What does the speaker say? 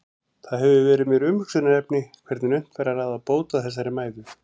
Það hefur verið mér umhugsunarefni hvernig unnt væri að ráða bót á þessari mæðu.